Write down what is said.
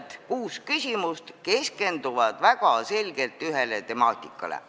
Nii et kõik need kuus küsimust keskenduvad väga selgelt ühele temaatikale.